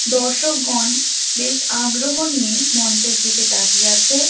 দর্শকগণ বেশ আগ্রহ নিয়ে মঞ্চের দিকে তাকিয়ে আছে।